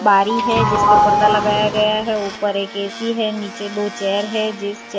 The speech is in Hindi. आरी है जिस पे पर्दा लगाया गया है ऊपर एक ए_सी है नीचे दो चेयर है जिस चेयर --